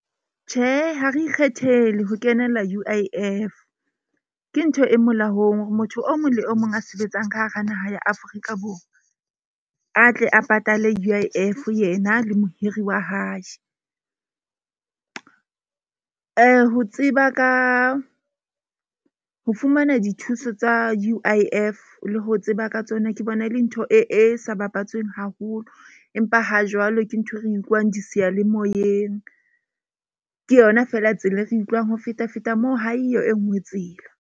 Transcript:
Tjhe, ha re ikgethele ho kenela U_I_F. Ke ntho e molaong hore motho o mong le o mong a sebetsang ka hara naha ya Afrika Borwa, a tle a patale U_I_F yena le mohiri wa hae. Ho tseba ka ho fumana dithuso tsa U_I_F le ho tseba ka tsona. Ke bona e le ntho e sa bapatsweng haholo. Empa ha jwale ke nthwe re utlwang di seyalemoyeng. Ke yona feela tsela e re utlwang ho feta feta moo. Ha eyo e nngwe tsela.